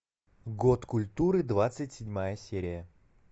год культуры двадцать седьмая серия